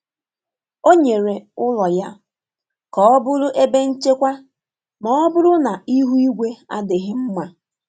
O nyere ụlọ ya ka ọ bụrụ ebe nchekwa ma ọ bụrụ na ihu igwe adịghị mma.